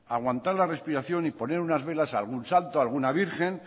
aguantar la respiración y poner unas velas a algún santo a alguna virgen